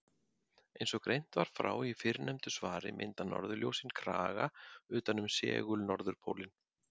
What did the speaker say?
Eins og greint var frá í fyrrnefndu svari mynda norðurljósin kraga utan um segul-norðurpólinn.